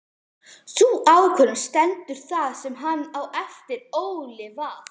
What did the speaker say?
Sú ákvörðun stendur það sem hann á eftir ólifað.